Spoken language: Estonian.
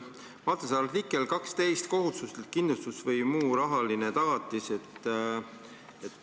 Vaata, see artikkel 12 "Kohustuslik kindlustus või muu rahaline tagatis".